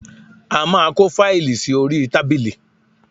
A máa kó fáìlì sí orí tábìlì